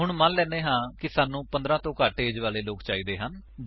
ਹੁਣ ਮੰਨ ਲੈਂਦੇ ਹਾਂ ਕਿ ਸਾਨੂੰ 15 ਤੋਂ ਘੱਟ ਏਜ ਵਾਲੇ ਲੋਕ ਚਾਹੀਦੇ ਹਨ